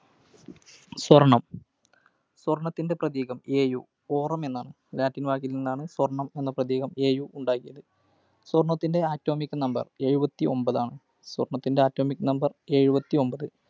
സ്വർണം. സ്വർണത്തിന്റെ പ്രതീകം Au. Aurum എന്ന Latin വാക്കിൽനിന്നാണ് സ്വർണം എന്ന പ്രതീകം Au ഉണ്ടായത്. സ്വർണത്തിന്റെ Atomic Number എഴുപത്തിഒൻപതാണ്. സ്വർണത്തിന്റെ Atomic Number എഴുപത്തിഒൻപത്.